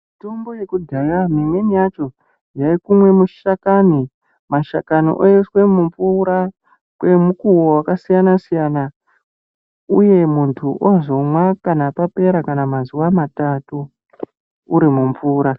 Mitombo yekudhaya mimweni yacho yaikumwe mushakani , mashakani oiswe mumvura kwrmukuwo yakasiyana siyana uye muntu ozomwa kana papera kana mazuwa matatu uri mumvura .